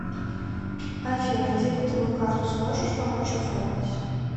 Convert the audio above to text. афина дебетовую карту сможешь помочь оформить